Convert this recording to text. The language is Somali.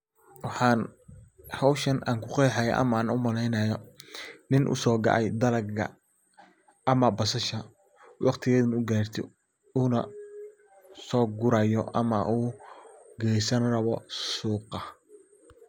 Waxaan hawshan aan ku qeexaya ama aan u maleynaya nin u so go'ay dalaga ama basasha waqtigeeda na u garte uuna so gurayo ama u geysan rabo suuqa.